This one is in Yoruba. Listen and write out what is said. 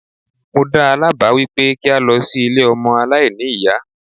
Mo dáa lá báà wípé kí a lọ sí ilé ọmọ aláìní ìyá.